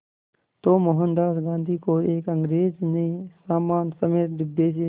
तो मोहनदास गांधी को एक अंग्रेज़ ने सामान समेत डिब्बे से